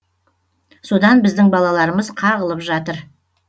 содан біздің балаларымыз қағылып жатыр